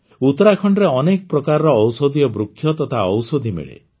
ଉତ୍ତରାଖଣ୍ଡରେ ଅନେକ ପ୍ରକାରର ଔଷଧୀୟ ବୃକ୍ଷ ତଥା ଔଷଧୀ ମିଳେ